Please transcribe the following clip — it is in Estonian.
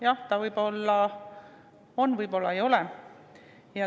Jah, võib-olla on, võib-olla ei ole.